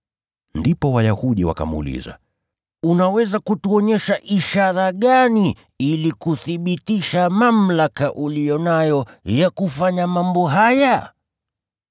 Ndipo Wayahudi wakamuuliza, “Unaweza kutuonyesha ishara gani ili kuthibitisha mamlaka uliyo nayo ya kufanya mambo haya?”